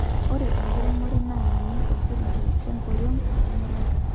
ore enkiremore naa ninye osirinki lenkoriong temuruan